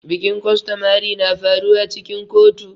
Bikin costomary na faruwa cikin kotu.